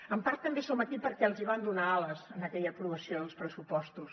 en part també som aquí perquè els van donar ales amb aquella aprovació dels pressupostos